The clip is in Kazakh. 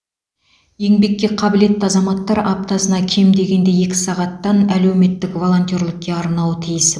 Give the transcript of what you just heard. еңбекке қабілетті азаматтар аптасына кем дегенде екі сағаттан әлеуметтік волонтерлікке арнауы тиіс